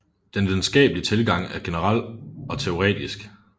Den videnskabelige tilgang er generel og teoretisk